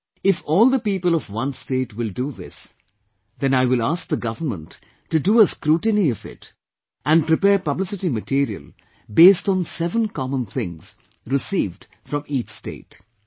You see, if all the people of one state will do this, then I will ask the government to do a scrutiny of it and prepare publicity material based on seven common things received from each state